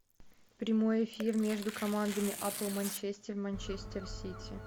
прямой эфир между командами апл манчестер манчестер сити